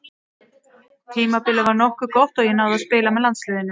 Tímabilið var nokkuð gott og ég náði að spila með landsliðinu.